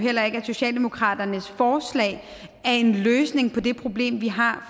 heller ikke at socialdemokratiets forslag er en løsning på det problem vi har